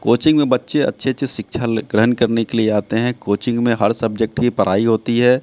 Coaching में बच्चे अच्छे अच्छे शिक्षा ले ग्रहण करने के लिए आते हैं कोचिंग में हर सब्जेक्ट की पढ़ाई होती है।